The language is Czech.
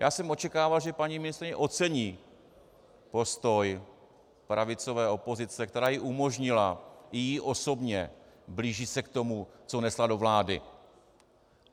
Já jsem očekával, že paní ministryně ocení postoj pravicové opozice, která jí umožnila, i jí osobně, blíží se k tomu, co nesla do vlády.